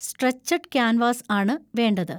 Stretched canvas ആണ് വേണ്ടത്.